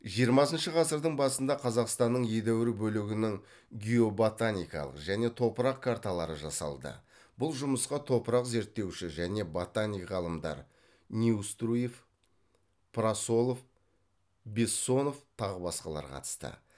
жиырмасыншы ғасырдың басында қазақстанның едәуір бөлігінің геоботаникалық және топырақ карталары жасалды бұл жұмысқа топырақ зерттеуші және ботаник ғалымдар неуструев прасолов безсонов тағы басқалар қатысты